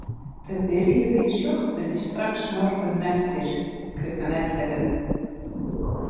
Þau byrjuðu í sjoppunni strax morguninn eftir, klukkan ellefu.